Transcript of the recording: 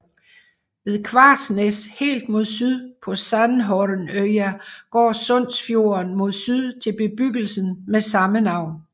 Ved Kvarsnes helt mod syd på Sandhornøya går Sundsfjorden mod syd til bebyggelsen med samme navn